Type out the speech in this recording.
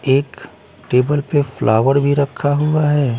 एक टेबल पे फ्लावर भी रखा हुआ हैं ।